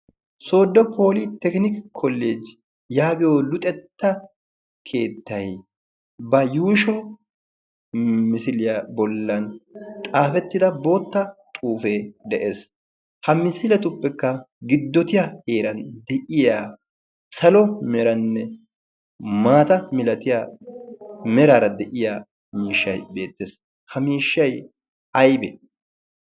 sodo poli tekiniki koleeji yaagiyo luxetta keettai ba yuusho misiliyaa bollan xaafettida bootta xuufee de'ees. ha misiletuppekka giddotiya eeran de'iya salo meranne maata milatiya meraara de'iya miishshay beettees. ha miishshay aybee?